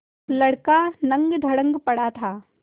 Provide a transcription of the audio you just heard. लड़का नंगधड़ंग पड़ा था